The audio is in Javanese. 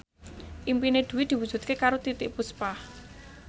impine Dwi diwujudke karo Titiek Puspa